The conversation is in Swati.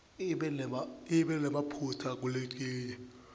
ibe nemaphutsa kuletinye